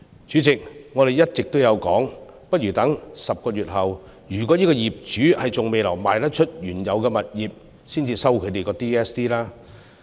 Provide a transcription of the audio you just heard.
主席，我們一直建議不如待10個月後若業主還未售出原有物業，才收取 DSD。